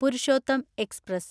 Purushottam express